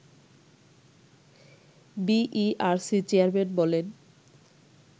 BERC chairman বলেন